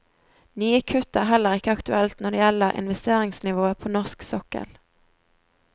Nye kutt er heller ikke aktuelt når det gjelder investeringsnivået på norsk sokkel.